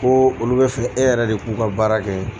Ko olu bɛ fɛ e yɛrɛ de k'u ka baara kɛ.